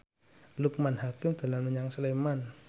Loekman Hakim dolan menyang Sleman